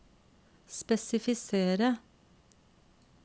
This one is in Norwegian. spesifisere